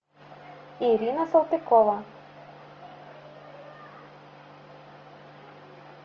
ирина салтыкова